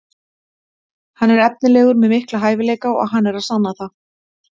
Hann er efnilegur með mikla hæfileika og hann er að sanna það.